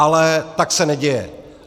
Ale tak se neděje.